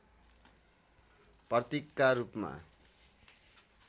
प्रतीकका रूपमा